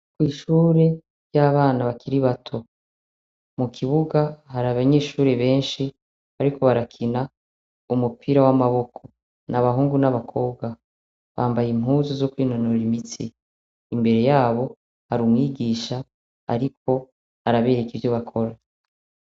Kw'ishure ry'abana bakiri bato, mu kibuga hari abanyeshure benshi bariko barakina umupira w'amaboko, n’abahungu n'abakobwa, bambaye impuzu zo kwinonora imitsi, imbere yabo hari umwigisha ariko arabereka ivyo bakora.